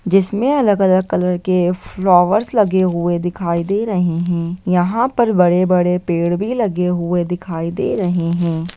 जिसमे अलग-अलग कलर के फ्लावर्स लगे हुए दिखाई दे रहे है यहाँ पर बड़े-बड़े पेड़ भी लगे हुए दिखाई दे रहे है।